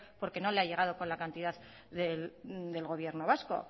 porque no le ha llegado con la cantidad del gobierno vasco